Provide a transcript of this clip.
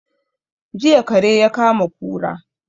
Jiya kare ya kama kura